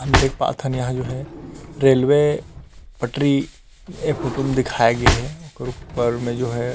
हम देख पाथन हम यहाँ जो हे रेलवे पटरी ऐ फोटो म दिखाए गे हे ओखर ऊपर में जो है।